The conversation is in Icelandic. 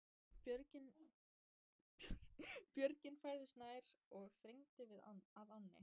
Björgin færðust nær og þrengdu að ánni.